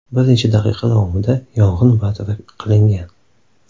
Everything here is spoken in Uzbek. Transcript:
Bir necha daqiqa davomida yong‘in bartaraf qilingan.